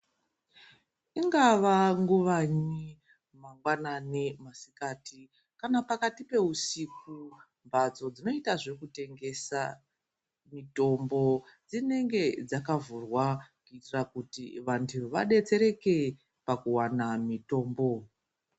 Ingava nguvanyi mangwanani masikati kana pakati pehusiku mbatso dzinoita zveku tengesa mitombo dzinenge dzaka vhurwa kuitira kuti vantu vadetsereke pakuwana mitombo.